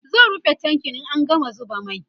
zan rufe tankin in an gama zuba mai